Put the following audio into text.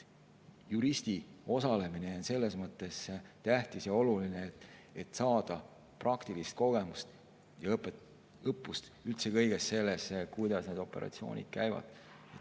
Juristi osalemine on selles mõttes tähtis ja oluline, et saada praktilist kogemust ja üldse kõige selle kohta, kuidas need operatsioonid käivad.